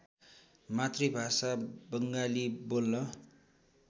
मातृभाषा बङ्गाली बोल्न